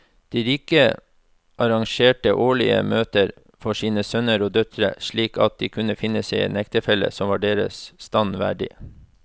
De rike arrangerte årlige møter for sine sønner og døtre slik at de kunne finne seg en ektefelle som var deres stand verdig.